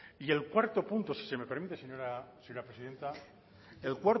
y el cuarto punto si se me permite señora presidenta el